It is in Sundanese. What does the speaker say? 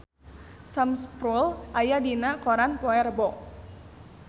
Sam Spruell aya dina koran poe Rebo